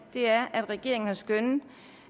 er at regeringen har skønnet